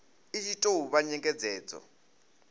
i tshi tou vha nyengedzedzo